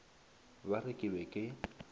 ba re ke be ke